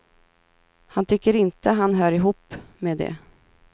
Han tycker inte han hör ihop med det.